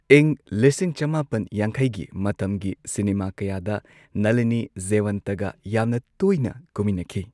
ꯏꯪ ꯂꯤꯁꯤꯡ ꯆꯃꯥꯄꯟ ꯌꯥꯡꯈꯩꯒꯤ ꯃꯇꯝꯒꯤ ꯁꯤꯅꯦꯃꯥ ꯀꯌꯥꯗ ꯅꯂꯤꯅꯤ ꯖꯦꯋꯟꯇꯒ ꯌꯥꯝꯅ ꯇꯣꯢꯅ ꯀꯨꯝꯃꯤꯟꯅꯈꯤ꯫